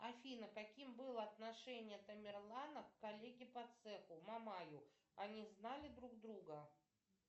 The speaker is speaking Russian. афина каким было отношение тамерлана к коллеге по цеху мамаю они знали друг друга